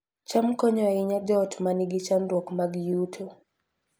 cham konyo ahinya joot ma nigi chandruok mag yuto